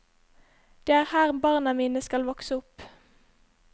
Det er her barna mine skal vokse opp.